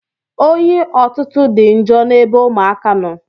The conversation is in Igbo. Oyi ọtụtụ dị njọ n'ebe ụmụaka nọ.